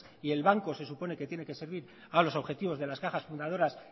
y el banco se supone que tiene que servir a los objetivos de las cajas fundadoras